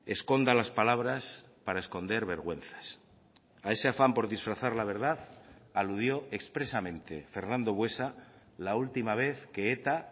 esconda las palabras para esconder vergüenzas a ese afán por disfrazar la verdad aludió expresamente fernando buesa la última vez que eta